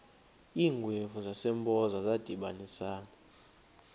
iingwevu zasempoza zadibanisana